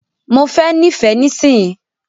Mo fẹ n'ifẹ nisinyii.